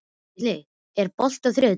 Vilný, er bolti á þriðjudaginn?